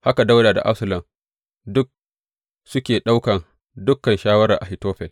Haka Dawuda da Absalom duk suke ɗaukan dukan shawarar Ahitofel.